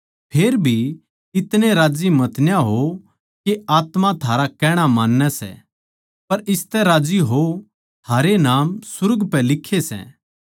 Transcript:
फेरभी इतणे राज्जी मतना होवो के आत्मा थारा कहणा मान्नै सै पर इसतै राज्जी होवो थारे नाम सुर्ग पै लिक्खे सै